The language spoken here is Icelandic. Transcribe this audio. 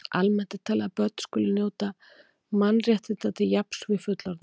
Almennt er talið að börn skuli njóta mannréttinda til jafns við fullorðna.